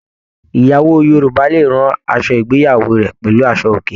Ìyàwó Yorùbá lè ràn aṣọ ìgbéyàwó rẹ pẹlú aṣọ òkè.